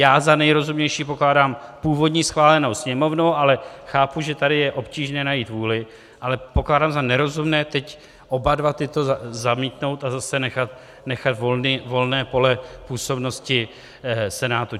Já za nejrozumnější pokládám původní, schválenou Sněmovnou, ale chápu, že tady je obtížné najít vůli, ale pokládám za nerozumné teď oba dva tyto zamítnout a zase nechat volné pole působnosti Senátu.